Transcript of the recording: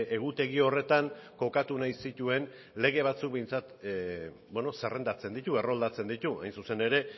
egutegi horretan kokatu nahi zituen lege batzuk behintzat zerrendatzen ditu erroldatzen ditu hain zuzen ere